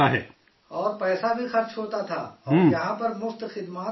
اور پیسہ بھی خرچ ہوتا تھا اور یہاں پر مفت خدمات سب ہو رہی ہیں